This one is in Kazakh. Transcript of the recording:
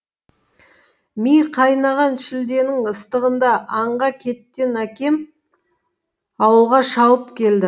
ми қайнаған шілденің ыстығында аңға кеттен әкем ауылға шауып келді